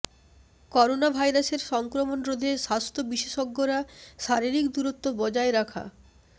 করোনাভাইরাসের সংক্রমণ রোধে স্বাস্থ্য বিশেষজ্ঞরা শারীরিক দূরত্ব বজায় রাখ